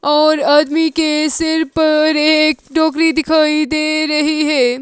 और आदमी के सिर पर एक टोकरी दिखाई दे रही है।